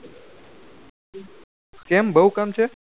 કેમ બહુ કામ છે